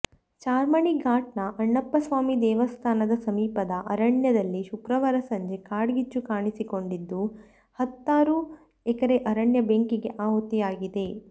ಚಾರ್ಮಾಡಿ ಘಾಟ್ನ ಅಣ್ಣಪ್ಪಸ್ವಾಮಿ ದೇವಸ್ಥಾನದ ಸಮೀಪದ ಅರಣ್ಯದಲ್ಲಿಶುಕ್ರವಾರ ಸಂಜೆ ಕಾಡ್ಗಿಚ್ಚು ಕಾಣಿಸಿಕೊಂಡಿದ್ದು ಹತ್ತಾರು ಎಕರೆ ಅರಣ್ಯ ಬೆಂಕಿಗೆ ಆಹುತಿಯಾಗಿದೆ